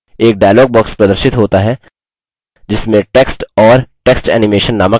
एक dialog box प्रदर्शित होता है जिसमें text और text animation नामक tabs हैं